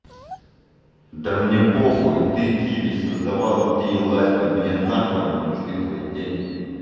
да мне похую ты киви создавала ты и лазь там мне нахуй они не нужны твои деньги